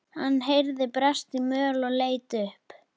Hann heyrði bresta í möl og leit upp.